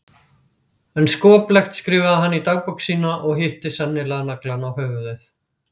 En skoplegt skrifaði hann í dagbók sína og hitti sennilega naglann á höfuðið.